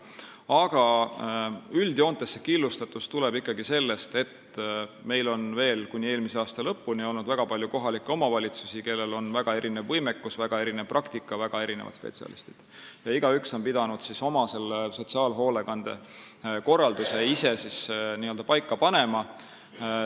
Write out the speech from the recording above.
Aga üldjoontes tuleneb see killustatus ikkagi sellest, et meil oli veel kuni eelmise aasta lõpuni väga palju kohalikke omavalitsusi, kellel oli väga erinev võimekus ja väga erinev praktika, kellel olid väga erinevad spetsialistid, ja igaüks neist pidi sotsiaalhoolekande korralduse ise paika panema.